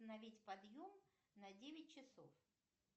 установить подъем на девять часов